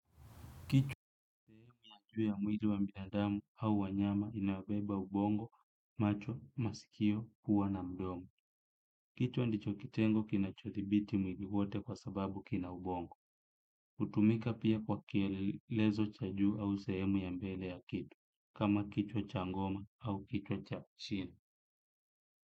Kichwa kiko juu ya mwili wa binadamu au wanyama inayobeba ubongo, macho, masikio, pua na mdomo. Kichwa ndicho kitengo kinachothibiti mwili wote kwa sababu kina ubongo. Hutumika pia kwa kielezo cha juu au sehemu ya mbele ya kitu, kama kichwa cha ngoma au kichwa cha chini.